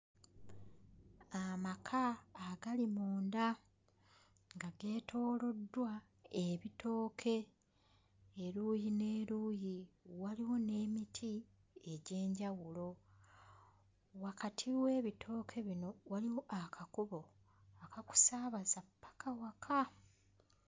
Amaka agali munda nga geetooloddwa ebitooke eruuyi n'eruuyi. Waliwo n'emiti egy'enjawulo. Wakati w'ebitooke bino waliwo akakubo akakusaabaza ppaka waka.